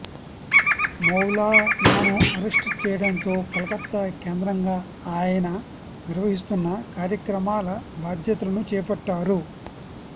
మౌలానాను arrest చేయటంతో కలకత్తా కేంద్రంగా ఆయన నిర్వహిస్తున్న కార్యక్రమాల బాధ్యతలను చేపట్టారు